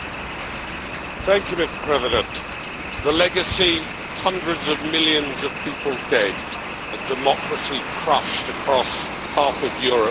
Mr President, the legacy hundreds of millions of people dead and democracy crushed across half of Europe for generations.